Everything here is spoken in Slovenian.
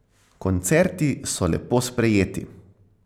Koncerti so lepo sprejeti.